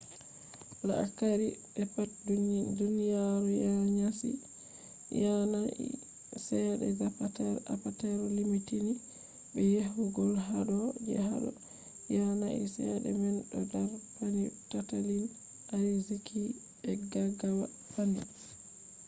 la’akari be pat duniyaru yanayi chede zapatero apatero timmitini be yechugo hado ‘’ je hado yanayi chede man do dar panni tattalin ariziki be gaggawa panni